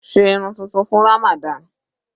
Sé irun tuntun fún Ramadan.